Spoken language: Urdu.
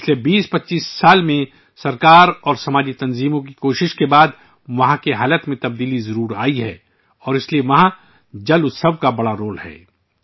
پچھلے 2025 سالوں میں حکومت اور سماجی تنظیموں کی کوششوں کے بعد ، وہاں کے حالات میں تبدیلی آئی ہے اور اس لیے وہاں 'جل اتسو ' کا بڑا کردار ہے